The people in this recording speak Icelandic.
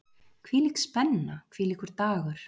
Hvílík spenna, hvílíkur dagur!